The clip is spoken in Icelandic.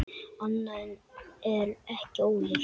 Annað er ekki ólíkt.